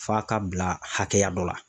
F'a ka bila hakɛya dɔ la.